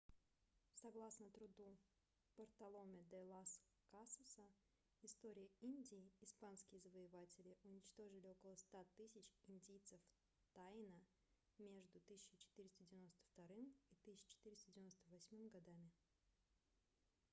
согласно труду бартоломе де лас касаса история индий испанские завоеватели уничтожили около 100 000 индейцев таино между 1492 и 1498 годами